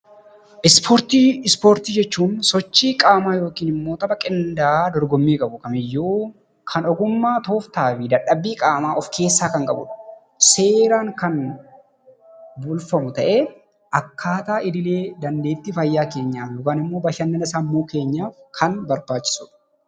Ispoortii Ispoortii jechuun sochii qaamaa yookiin immoo tapha qindaa'aa dorgommii qabu kamiyyuu kan ogummaa, tooftaa fi dhadhabbii qaamaa of keessaa kan qabuu dha. Seeraan kan bulfamu ta'ee akkaataa idilee dandeettii fayyaa keenyaan yookaan immoo bashannana sammuu keenyaaf kan barbaachisu dha.